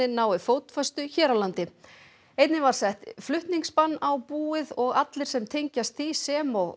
ná fótfestu hér á landi einnig var sett á búið og allir sem tengjast því sem og